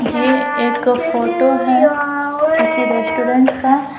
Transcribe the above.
ये एक फोटो है किसी रेस्टोरेंट का।